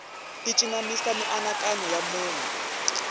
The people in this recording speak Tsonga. ti cinamisa mianakanyo ya munhu